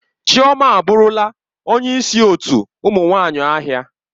Chioma aburula onye isi otu ụmụ nwanyi ahia.